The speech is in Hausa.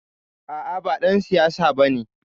A'a ba ɗan siyasa bane.